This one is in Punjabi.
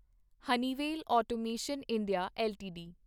Honeywell automation India LTD